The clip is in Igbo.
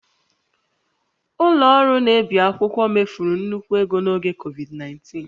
Companieslọ ọrụ na-ebi akwụkwọ mefuru nnukwu ego n'oge Covid19